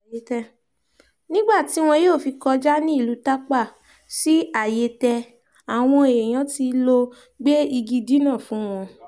nígbà tí wọn yóò fi kọjá ní ìlú tápá sí àyẹtẹ àwọn èèyàn tí lóò gbé igi dínà fún wọn